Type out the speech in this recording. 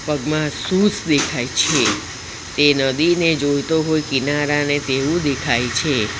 પગમાં શૂઝ દેખાય છે તે નદીને જોઈતો હોય કિનારાને તેવું દેખાય છે.